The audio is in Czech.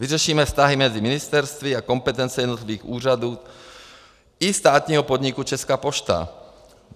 Vyřešíme vztahy mezi ministerstvy a kompetence jednotlivých úřadů i státního podniku Česká pošta.